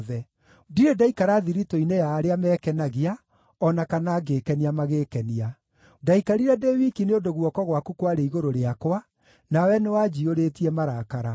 Ndirĩ ndaikara thiritũ-inĩ ya arĩa mekenagia, o na kana ngĩĩkenia magĩĩkenia; ndaikarire ndĩ wiki nĩ ũndũ guoko gwaku kwarĩ igũrũ rĩakwa, nawe nĩwanjiyũrĩtie marakara.